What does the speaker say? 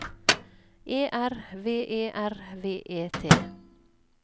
E R V E R V E T